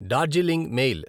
Darjeeling mail